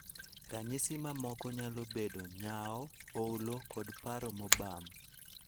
Ranyisi mamoko nyalo bedo nyawo, olo, koda paro mobam.